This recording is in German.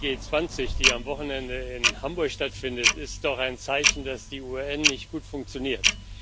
Die G20 Tagung, die am Wochenende in Hamburg stattfindet, ist doch ein Zeichen, dass die UN nicht gut funktioniert.